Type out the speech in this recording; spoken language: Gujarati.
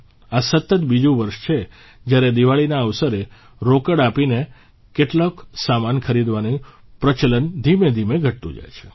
આ સતત બીજું વર્ષ છે જયારે દિવાળીના અવસરે રોકડ આપીને કેટલોક સામાન ખરીદવાનું પ્રચલન ધીમેધીમે ઘટતું જઇ રહ્યું છે